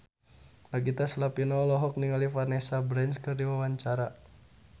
Nagita Slavina olohok ningali Vanessa Branch keur diwawancara